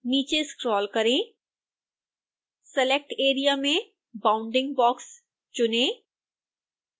नीचे स्क्रोल करें select area में bounding box चुनें